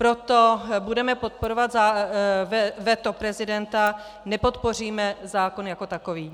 Proto budeme podporovat veto prezidenta, nepodpoříme zákon jako takový.